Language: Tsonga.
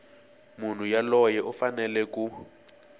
munhu yoloye u fanele ku